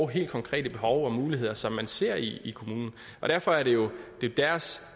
helt konkrete behov og muligheder som man ser i kommunen derfor er det jo deres